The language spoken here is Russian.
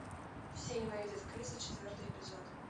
все ненавидят криса четвертый эпизод